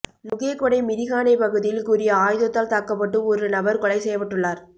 நுகேகொடை மிரிஹானை பகுதியில் கூறிய ஆயுதத்தால் தாக்கப்பட்டு ஒரு நபர் கொலை செய்யப்பட்டுள்ளார்